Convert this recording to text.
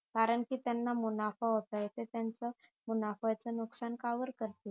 कारण कि त्यांना मुनाफा होतंय ते त्याचं मुनाफ्याच नुकसान का बर करतील